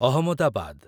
Ahmedabad